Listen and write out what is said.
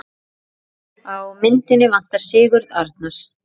Á myndina vantar Sigurð Arnar.